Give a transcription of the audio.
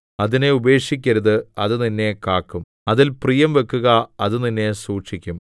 അതിനെ ഉപേക്ഷിക്കരുത് അത് നിന്നെ കാക്കും അതിൽ പ്രിയം വെക്കുക അത് നിന്നെ സൂക്ഷിക്കും